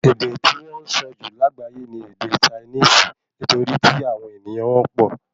Èdè tí wọn sọ jù lágbayé ní ède Chinisi nitori tí àwọn ènìyàn wọn pọ